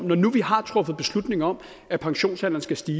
når nu vi har truffet beslutning om at pensionsalderen skal stige